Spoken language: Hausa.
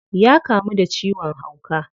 Ya kamu da ciwon hauka.